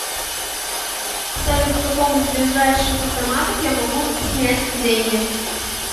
салют в каком из ближайших автоматов я могу снять деньги